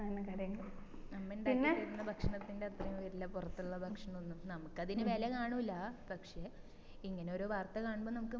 അങ്ങനെയാ കാര്യങ്ങള് 'അമ്മ ഇണ്ടാക്കി തരുന്ന ഭക്ഷണത്തിന്റെ അത്രേം വരില്ല പൊറത്തുള്ള ഭക്ഷണോന്നും നമ്മക്ക് അതിന് വേല കാണൂല പക്ഷെ ഇങ്ങനെ ഓരോ വാർത്ത കാണുമ്പോ നമ്മക്ക്